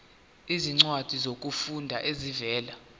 izincwadi zokufunda ezivela